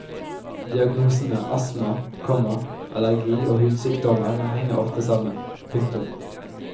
Diagnosene astma, komma allergi og hudsykdommer henger ofte sammen. punktum